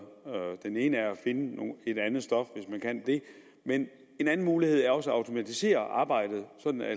den ene er at finde et andet stof hvis man kan det men en anden mulighed er også at automatisere arbejdet sådan at